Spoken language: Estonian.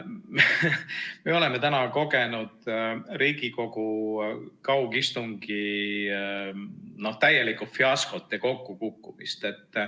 Me oleme täna kogenud Riigikogu kaugistungi täielikku fiaskot ja kokkukukkumist.